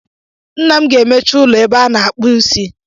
Nna m ga-emechi ụlọ ebe a a-na akpụ isi